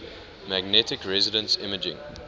magnetic resonance imaging